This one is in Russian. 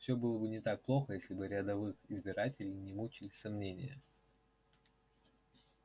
все было бы не так плохо если бы рядовых избирателей не мучили сомнения